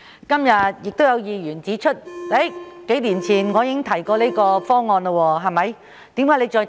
今天亦有議員指出，數年前我亦曾提出這個方案，為何現在又再次提出。